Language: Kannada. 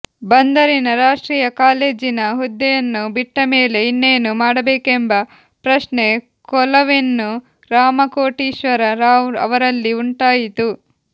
ಬಂದರಿನ ರಾಷ್ಟ್ರೀಯ ಕಾಲೇಜಿನ ಹುದ್ದೆಯನ್ನು ಬಿಟ್ಟಮೇಲೆ ಇನ್ನೇನು ಮಾಡಬೇಕೆಂಬ ಪ್ರಶ್ನೆ ಕೋಲವೆನ್ನು ರಾಮಕೋಟೀಶ್ವರ ರಾವ್ ಅವರಲ್ಲಿ ಉಂಟಾಯಿತು